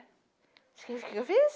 O que que eu fiz?